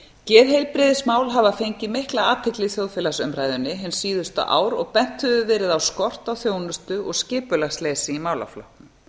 geðheilbrigðismál hafa fengið mikla athygli í þjóðfélagsumræðunni hin síðustu ár og bent hefur verið á skort á þjónustu og skipulagsleysi í málaflokknum